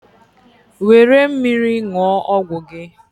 were mmiri ṅụọ ọgwụ gị.